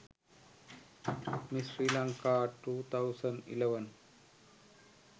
miss sri lanka 2011